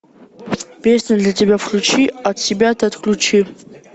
песню для тебя включи от себя ты отключи